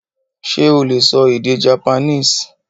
Sé o lè sọ èdè Japanese?